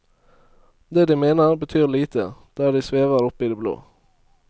Det de mener, betyr lite, der de svever oppe i det blå.